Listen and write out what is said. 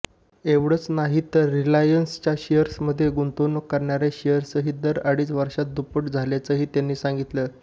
एवढंच नाही तर रिलायन्सच्या शेअर्समध्ये गुंतवणूक करणाऱ्यांचे शेअर्सही दर अडीच वर्षात दुप्पट झाल्याचंही त्यांनी सांगितलं